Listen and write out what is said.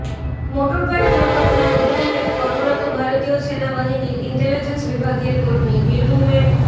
motorbike দুর্ঘটনায় উধমপুরে কর্মরত ভারতীয় সেনাবাহিনীর ইনটেলিজেন্স বিভাগের কর্মী বীরভূমের